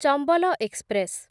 Chambal express